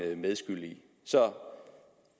medskyld i så